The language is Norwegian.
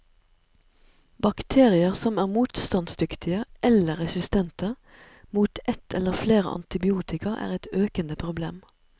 Bakterier som er motstandsdyktige, eller resistente, mot et eller flere antibiotika, er et økende problem.